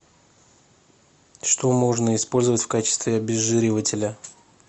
что можно использовать в качестве обезжиривателя